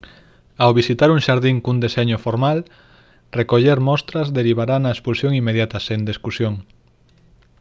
ao visitar un xardín cun deseño formal recoller «mostras» derivará na expulsión inmediata sen discusión